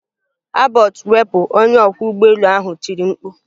Abort wepụ! Onye ọkwọ ụgbọelu ahụ tiri mkpu.